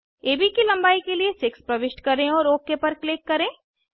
AB की लंबाई के लिए 6 प्रविष्ट करें और ओक पर क्लिक करें